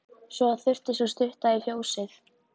Svo þurfti sú stutta í fjósið.